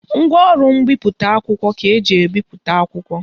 Ngwaọrụ mbipụta akwụkwọ ka eji ebipụta akwụkwọ